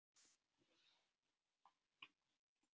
Þetta er einhver misskilningur.